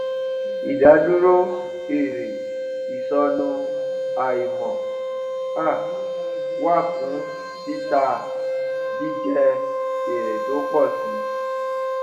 ìdádúró èrè ìsọnù àìmọ um wà fún títà jẹ jẹ èrè tó ń pọ si